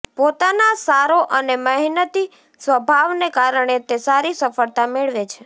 પોતાના સારો અને મહેનતી સ્વભાવને કારણે તે સારી સફળતા મેળવે છે